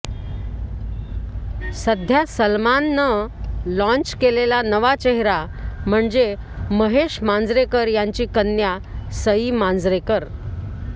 सध्या सलमाननं लाँच केलेला नवा चेहरा म्हणजे महेश मांजरेकर यांची कन्या सई मांजरेकर